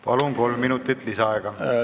Palun, kolm minutit lisaaega!